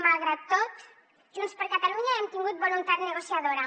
malgrat tot junts per catalunya hem tingut voluntat negociadora